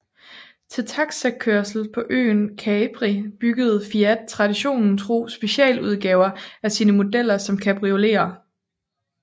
Til taxikørsel på øen Capri byggede Fiat traditionen tro specialudgaver af sine modeller som cabrioleter